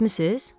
Eşitmisiz?